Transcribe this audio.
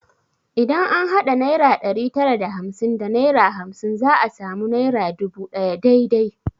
Idan an hada naira ɗari tara da hamsin da naira hamsin za a sami naira dubu ɗaya dai dai